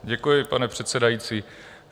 Děkuji, pane předsedající.